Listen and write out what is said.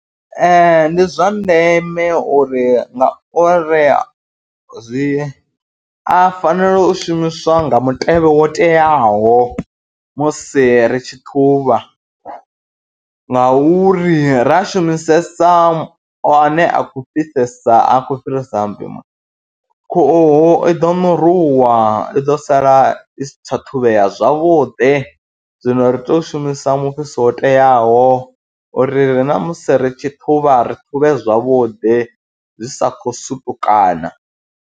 Ee ndi zwa ndeme uri ngauri zwi a fanela u shumiswa nga mutevhe wo teaho musi ri tshi ṱhuvha ngauri ra shumisesa ane a khou fhisesa a khou fhirisa mpimo, khuhu i ḓo ṋurunwa i ḓo sala i si tsha ṱhavheya zwavhuḓi, zwino ri tea u shumisa mufhiso wo teaho uri ri na musi ri tshi ṱhuvha ri ṱhuvhe zwavhuḓi zwi sa khou sutukana.